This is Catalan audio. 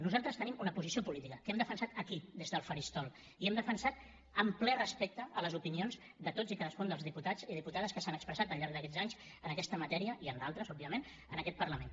nosaltres tenim una posició política que hem defensat aquí des del faristol i l’hem defensat amb ple respecte a les opinions de tots i cadascun dels diputats i diputades que s’han expressat al llarg d’aquests anys en aquesta matèria i en d’altres òbviament en aquest parlament